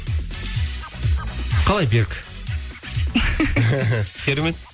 қалай берік керемет